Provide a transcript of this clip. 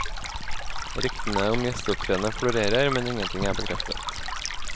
Ryktene om gjesteopptredener florerer, men ingenting er bekreftet.